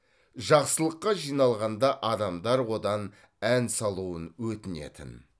жақсылыққа жиналғанда адамдар одан ән салуын өтінетін